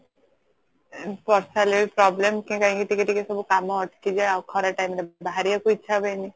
ବର୍ଷା ହେଲେ ବି problem କି କାଇକି ଟିକେ ଟିକେ ସବୁ କାମ ଅଟକି ଯାଏ ଆଉ ଖରା time ରେ ବାହାରିବାକୁ ଇଛା ହୁଏନି